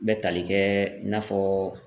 N bɛ tali kɛ i n'a fɔ.